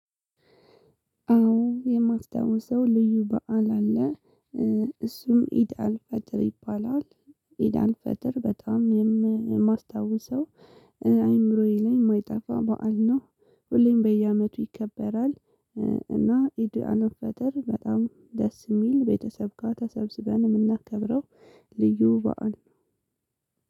አዎ የማውሰው ልዩ በዓል አለ እሱም ኢድአልፈጥር ይባላል። ኢድአልፈጥር በጣም የማስታውሰው አይምሮዬ ላይ ማይጠፋ በዓል ነው ሁሌም በየአመቱ ይከበራል። እና ኢድአልፈጥር በጣም ደስ ሚል ቤተሰብ ጋ ተሰብስበን ምናከብረው። ልዩ በዓል ነው።